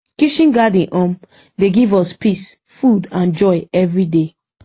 kitchen garden um dey give us peace food and joy everyday